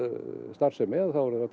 starfsemi